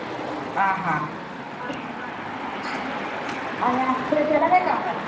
याविषयी आपण थोडासा विचार करू. अं विचार करून पाहू. म्हणजे झाले. मनुष्य-स्त्री आपल्या मुलास जन्म दिल्यापासून त्यास काठी~ काडीमात्र इजा न देता,